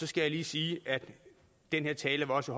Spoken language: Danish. skal lige sige at den her tale også